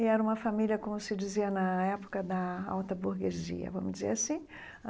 E era uma família, como se dizia na época da alta burguesia, vamos dizer assim.